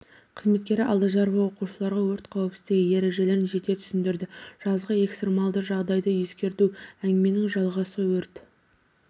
қызметкері алдажарова оқушыларға өрт қауіпсіздігі ережелерін жете түсіндірді жазғы экстремалды жағдайды ескерту әңгіменің жалғасы өрт